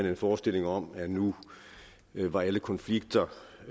en forestilling om at nu var alle konflikter